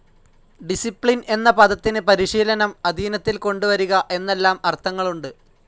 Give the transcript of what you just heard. Discipline എന്ന പദത്തിന് പരിശീലനം, അധീനത്തിൽ കൊണ്ടുവരിക എന്നെല്ലാം അർഥങ്ങളുണ്ട്.